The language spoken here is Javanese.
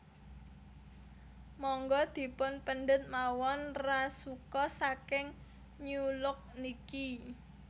Monggo dipun pendet mawon rasuka saking New Look niki